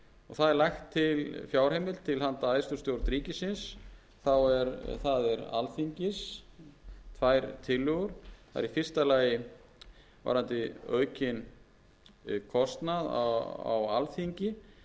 það er lögð til fjárheimild til handa æðstu stjórn ríkisins það er alþingis tvær tillögur það er í fyrsta lagi varðandi aukinn kostnað á alþingi